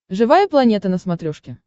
живая планета на смотрешке